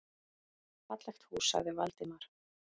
Fallegt hús sagði Valdimar.